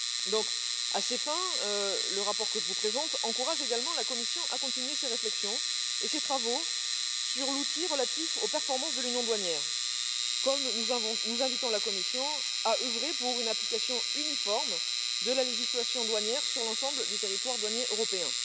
Donc, à ces fins, le rapport que je vous présente encourage également la Commission à continuer ses réflexions et ses travaux sur l'outil relatif aux performances de l'union douanière, comme nous invitons la Commission à œuvrer pour une application uniforme de la législation douanière sur l'ensemble du territoire douanier européen.